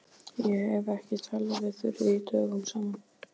Ég hef ekki talað við Þuríði dögum saman.